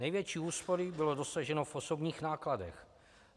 Největší úspory bylo dosaženo v osobních nákladech.